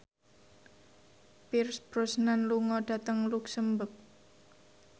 Pierce Brosnan lunga dhateng luxemburg